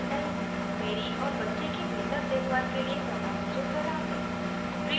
मेरी और बच्चे की बेहतर देखभाल के लिए कृपया मुझे सलाह दें